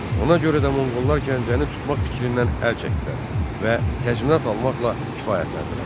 Ona görə də Monqollar Gəncəni tutmaq fikrindən əl çəkdilər və təzminat almaqla kifayətləndilər.